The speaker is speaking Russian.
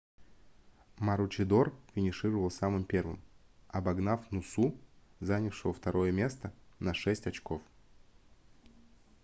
маручидор финишировал самым первым обогнав нусу занявшего второе место на шесть очков